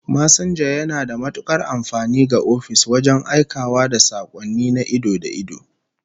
Masinja yana da matukar amfani ga ofis wajen aikawa da sakonni na ido da ido